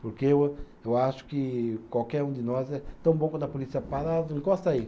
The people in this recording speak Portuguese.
Porque eu eu acho que qualquer um de nós é, tão bom quando a polícia para, ah encosta aí.